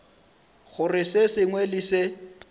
gore se sengwe le se